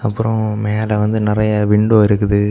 அப்புறம் மேல வந்து நறைய விண்டோ இருக்குது.